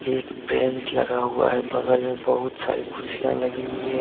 एक ब्रेन्जड लगा हुआ है। बगल में बहुत सारी कुर्सियां लगी हुई है।